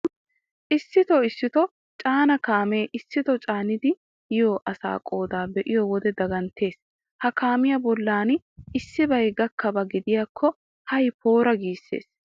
Issitoo issitoo caana kaamee issitoo caanidi hiya asaa qoodaa be'iyo wode daganttees. Ha kaamiya bollan issibay gakkiyaba gidiyakko hay poora giissees.